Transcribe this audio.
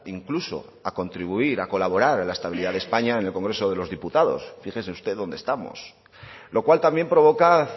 incluso a contribuir a colaborar en la estabilidad de españa en el congreso de los diputados fíjese usted donde estamos lo cual también provoca